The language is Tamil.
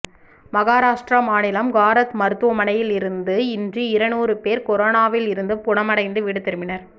மகராஷ்ட்ரா மாநிலம் காரத் மருத்துவமனையில் இருந்து இன்று இருநுாறு பேர் கொரோனாவில் இருந்து குணமடைந்து வீடு திரும்பினர்